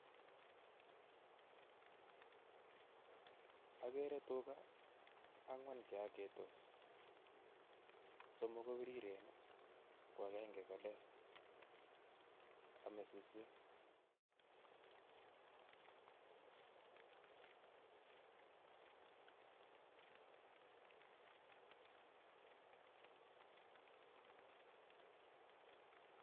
Okere tukaa ang'wan cheoketos, somok kobiriren ko akeng'e ko leel, omee suswek.